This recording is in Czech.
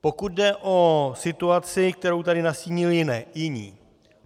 Pokud jde o situaci, kterou tady nastínili jiní.